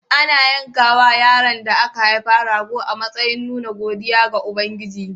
Ana yankawa yaron da aka haifa rago a matsayin nuna godiya ga Ubangiji.